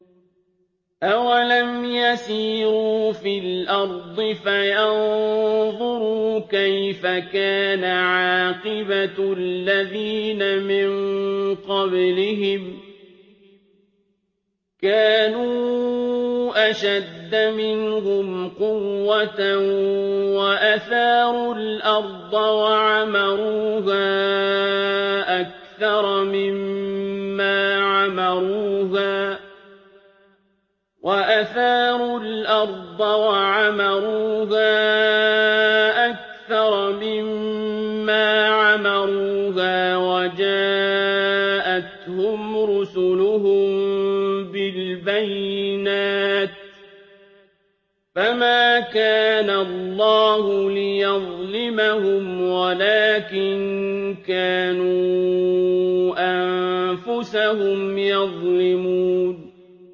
أَوَلَمْ يَسِيرُوا فِي الْأَرْضِ فَيَنظُرُوا كَيْفَ كَانَ عَاقِبَةُ الَّذِينَ مِن قَبْلِهِمْ ۚ كَانُوا أَشَدَّ مِنْهُمْ قُوَّةً وَأَثَارُوا الْأَرْضَ وَعَمَرُوهَا أَكْثَرَ مِمَّا عَمَرُوهَا وَجَاءَتْهُمْ رُسُلُهُم بِالْبَيِّنَاتِ ۖ فَمَا كَانَ اللَّهُ لِيَظْلِمَهُمْ وَلَٰكِن كَانُوا أَنفُسَهُمْ يَظْلِمُونَ